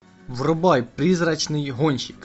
врубай призрачный гонщик